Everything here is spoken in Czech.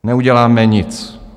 Neuděláme nic.